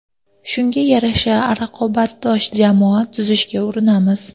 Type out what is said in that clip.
Shunga yarasha raqobatbardosh jamoa tuzishga urinamiz.